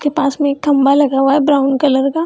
के पास में एक खम्भा लगा हुआ है ब्राउन कलर का।